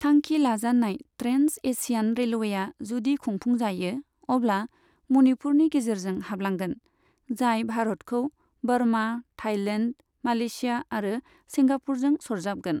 थांखि लाजानाय trans Asian रेलवेआ, जुदि लुफुंजायो, अब्ला मणिपुरनि गेजेरजों हाब्लांगोन, जाय भारतखौ बर्मा, थाईलेन्ड, मालेशिया आरो सिंगापुरजों सरजाबगोन।